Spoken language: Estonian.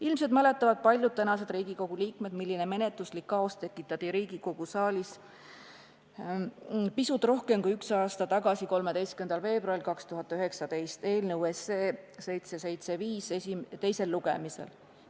Ilmselt mäletavad paljud praegused Riigikogu liikmed, milline menetluslik kaos tekitati Riigikogu saalis pisut rohkem kui aasta tagasi ehk 13. veebruaril 2019 eelnõu 775 teisel lugemisel.